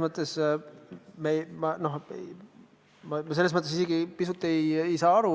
Ma isegi ei saa aru,